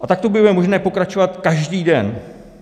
A takto by bylo možné pokračovat každý den.